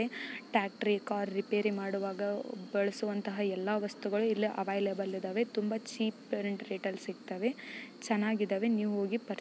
ಟ್ರ್ಯಾಕ್ಟರಿ car repair ಮಾಡುವಾಗ ಬಳಸುವಂತಹ ಎಲ್ಲಾ ವಸ್ತುಗಳು ಇಲ್ಲಿ ಅವೈಲೇಬಲ್‌ ಇದಾವೆ. ತುಂಬಾ ಚೀಪ್ ರೆಂಟ್-ರೇಟಲ್ಲಿ ಸಿಗ್ತಾವೆ. ಚೆನ್ನಾಗಿ ಇದ್ದಾವೆ ನೀವು ಹೋಗಿ‌ ಪರ್--